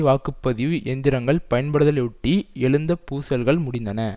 வாக்கு பதிவு எந்திங்கள் பயன்படுத்தலையொட்டி எழுந்த பூசல்கள் முடிந்தன